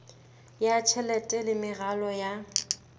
ya tjhelete le meralo ya